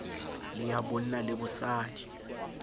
le ya bonna le bosadi